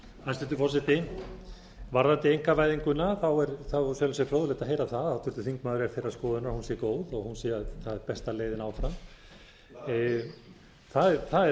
hæstvirtur forseti varðandi einkavæðinguna er í sjálfu sér fróðlegt að heyra það að háttvirtur þingmaður er þeirrar skoðunar að hún sé góð og hún sé besta leiðin áfram það er